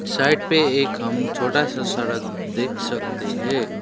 Side पे एक हम छोटा सा सड़क देख सकते है।